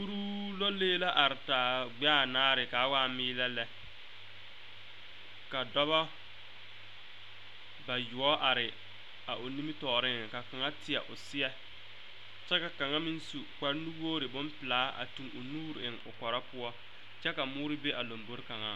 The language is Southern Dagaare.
Kuruu lɔlee la are taa gbɛɛ anaare ka waa meeelɛ lɛ ka dɔba bayoɔbo are a o nimitɔɔreŋ ka kaŋa teɛ o seɛ kyɛ ka kaŋa meŋ kparenuwogre bonpelaa a tuŋ o nuure eŋ o kɔrɔ poɔ kyɛ ka moore be a lombore kaŋaŋ